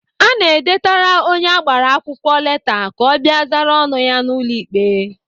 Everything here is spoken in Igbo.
Ana edetara onye agbara akwụkwọ leta ka ọ bịa zara ọnụ ya n'ụlọ ikpe.